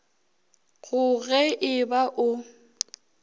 go ge e ba o